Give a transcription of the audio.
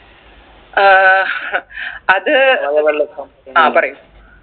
ഏർ അത് ആ പറയു